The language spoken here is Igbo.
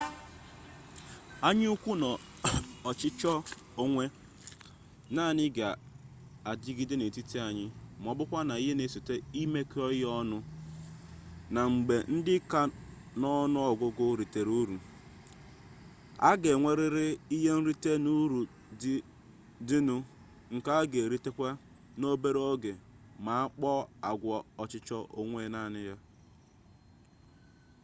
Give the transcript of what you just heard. anya ukwu na ọchịchọ onwe naanị ga adịgide n'etiti anyị ma ọbụkwa ihe na-esote imekọ ihe ọnụ na mgbe ndị ka n'ọnụ ọgụgụ ritere uru a ga enwerịrị ihe nrite n'uru dị nụ nke a ga eritenwu n'obere oge ma akpaa agwa ọchịchọ onwe naanị